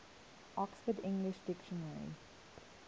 oxford english dictionary